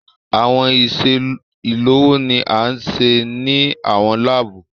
Awọn iṣe ilowo ni a ṣe ni awọn laabu